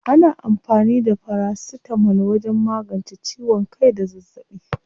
Ana amfani da farasitamol wajen magance ciwon kai da zazzaɓi.